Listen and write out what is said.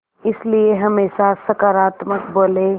इसलिए हमेशा सकारात्मक बोलें